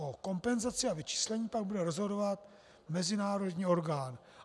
O kompenzaci a vyčíslení pak bude rozhodovat mezinárodní orgán.